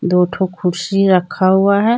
दो ठो कुर्सी रखा हुआ है।